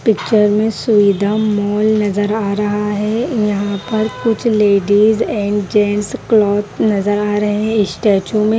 picture में Suvidha mall नजर आ रहा है यहां पर कुछ लेडीज एंड जेंट्स क्लॉथ नजर आ रहे है स्टेच्यू में--